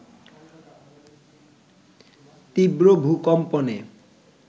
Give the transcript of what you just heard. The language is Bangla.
তীব্র ভূকম্পনে